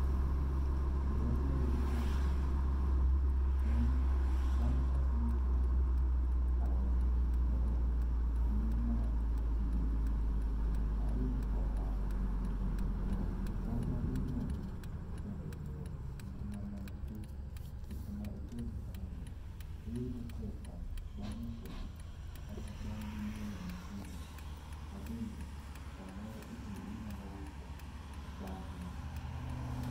Ber mayudo kuom timo tijni, en bang' kaseuso awendo kata lee ma oting' gi, ayudo ohala to tong' maginyuolo, bende ber e ngima dhano nikech seche ma itoyo ichamono, iyudo pesa bnag' usogi kata bang' gi nyuolo nyithindogi, ma bende samoro be inyalo uso bang'e.